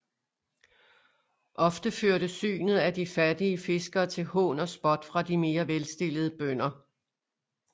Ofte førte synet af de fattige fiskere til hån og spot fra de mere velstillede bønder